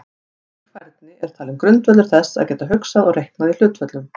Slík færni er talin grundvöllur þess að geta hugsað og reiknað í hlutföllum.